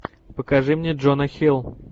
покажи мне джона хилл